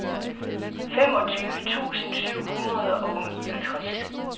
femogtyve tusind syv hundrede og niogtres